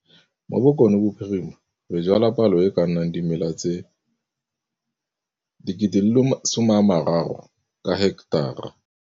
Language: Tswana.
Mo Bokonebophirima re jwala palo e e ka nnang dimela tse 30 000 ka heketara.